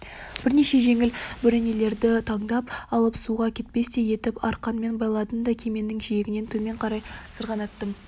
бірнеше жеңіл бөренелерді таңдап алып суға кетпестей етіп арқанмен байладым да кеменің жиегінен төмен қарай сырғанаттым